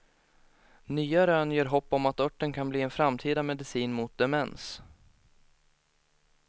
Nya rön ger hopp om att örten kan bli en framtida medicin mot demens.